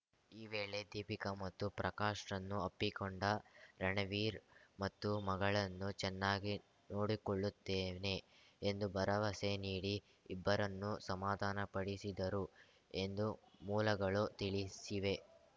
ಈ ವೇಳೆ ದೀಪಿಕಾ ಮತ್ತು ಪ್ರಕಾಶ್‌ರನ್ನು ಅಪ್ಪಿಕೊಂಡ ರಣವೀರ್‌ ಮತ್ತು ಮಗಳನ್ನು ಚೆನ್ನಾಗಿ ನೋಡಿಕೊಳ್ಳುತ್ತೇನೆ ಎಂದು ಭರವಸೆ ನೀಡಿ ಇಬ್ಬರನ್ನೂ ಸಮಾಧಾನಪಡಿಸಿದರು ಎಂದು ಮೂಲಗಳು ತಿಳಿಸಿವೆ